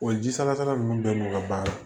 O ji salasala ninnu bɛɛ n'u ka baara